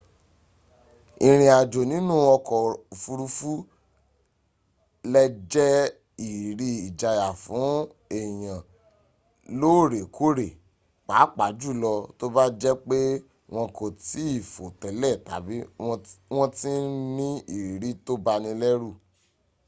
ìriìn àjò nínú ọkọ̀ òfuruufú lẹ jẹ ìrírí ìjayà fún èyàn lóórẹkóórẹ pàápàá júlọ tó bá jẹ pé wọn kò tìí fò télè tàbí wọn ti ní ìrírí tó banilérù